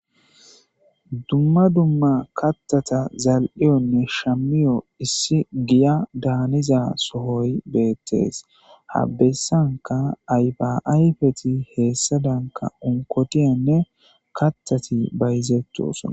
Dumma dumma kattata zal'iyonne shamiyo issi giya daaniza sohoy beettees habessanka aybaayfeti heessa danka onkotiyanne kattati bayzettu sona.